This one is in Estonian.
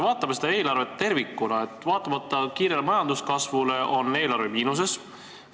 Vaatame seda eelarvet tervikuna: vaatamata kiirele majanduskasvule on eelarve miinuses.